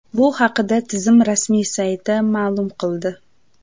Bu haqda tizim rasmiy sayti ma’lum qildi .